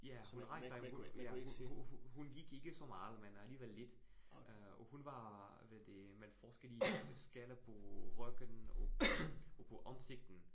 Ja, men men hun gik ikke så meget, men alligevel lidt øh og hun var hvad det forskel i skællet på ryggen og på ansigtet